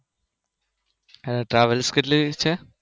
હા Travels કેટલી હશે?